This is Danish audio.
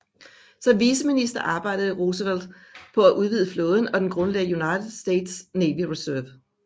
Som viceminister arbejdede Roosevelt på at udvide flåden og grundlagde United States Navy Reserve